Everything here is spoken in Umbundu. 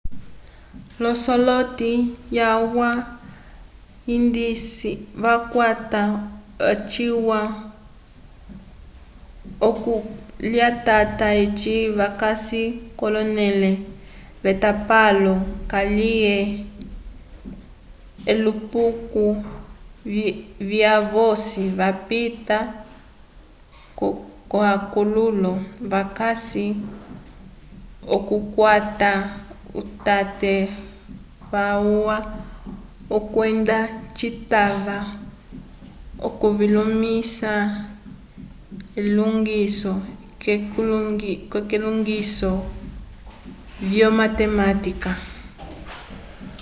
l'osoloti yalwa andisi vakwata ocituwa c'okulitata eci vakasi k'onẽle yetapalo kaliye elupuko lyavosi vapita k'akololo vakasi l'okukwata utate walwa kwenda citava okuvimõlisa k'elilongiso lyomatematika